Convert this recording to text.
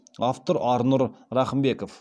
автор арнұр рахымбеков